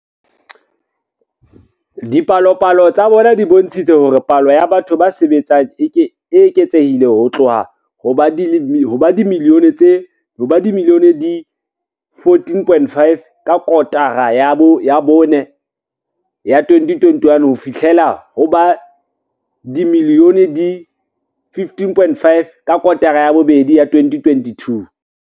Dipalopalo tsa bona di bontshitse hore palo ya batho ba sebetsang e eketsehile ho tloha ho ba dimilione di 14.5 ka kotara ya bone ya 2021 ho fihlela ho ba dimilione di 15.5 ka kotara ya bobedi ya 2022.